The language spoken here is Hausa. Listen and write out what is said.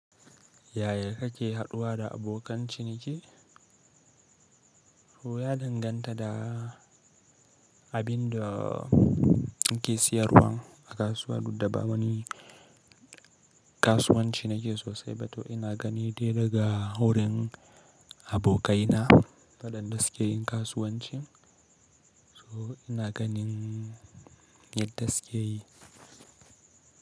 Yaya kake haɗuwa da abokan ciniki? So ya danganta da abin da inke siyarwa a kasuwa. Duddaba wani kasuwanci nake sosai, to ina gani dai daga wurin abokaina na waɗan dasu keyin kasuwanci. So ina ganin yadda suke yi.